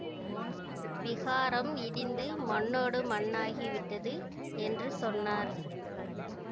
விஹாரம் இடிந்து மண்ணோடு மண்ணாகிவிட்டது என்று சொன்னார்